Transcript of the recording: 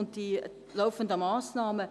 Und ich sage Ihnen: